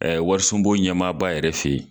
warisunbo ɲɛmaaba yɛrɛ fɛ ye.